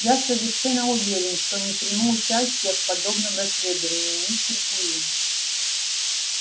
я совершенно уверен что не приму участия в подобном расследовании мистер куинн